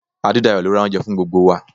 Adedayo ló ra oúnjẹ fún gbogbo wa.